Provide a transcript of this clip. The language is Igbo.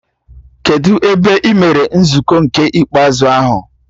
Kedụ ebe emere nzukọ nke ikpeazụ ahụ?